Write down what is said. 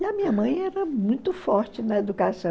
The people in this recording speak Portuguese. E a minha mãe era muito forte na educação.